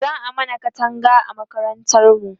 za'a mana Katanga a makarantar mu